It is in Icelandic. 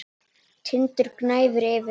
Tindur gnæfir yfir.